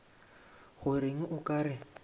go reng o ka re